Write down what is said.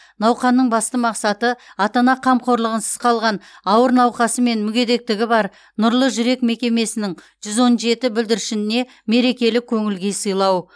науқанның басты мақсаты ата ана қамқорлығынсыз қалған ауыр науқасы мен мүгедектігі бар нұрлы жүрек мекемесінің жүз он жеті бүлдіршініне мерекелік көңіл күй сыйлау